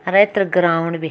अर एथर ग्राउंड बि --